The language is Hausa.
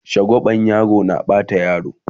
shagwaba yaro na Bata yaro